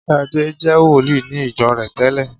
Ṣadé je wòlíì ní ìjọ rẹ̀ tẹ́lẹ̀